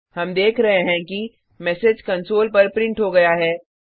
हम देख रहें हैं कि मैसेज कंसोल पर प्रिंट हो गया है